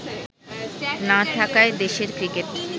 না থাকায় দেশের ক্রিকেট